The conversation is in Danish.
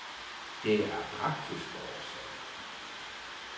Det er af praktiske årsager.